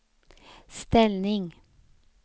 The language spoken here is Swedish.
ställning